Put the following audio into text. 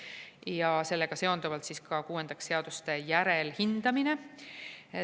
Kuuendaks, sellega seonduvalt seaduste järelhindamine.